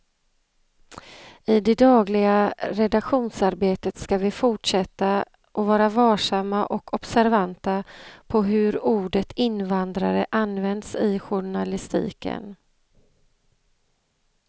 I det dagliga redaktionsarbetet ska vi fortsätta att vara varsamma och observanta på hur ordet invandrare används i journalistiken.